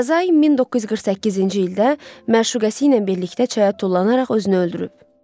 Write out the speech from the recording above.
Dazay 1948-ci ildə məşuqu ilə birlikdə çaya tullanaraq özünü öldürüb.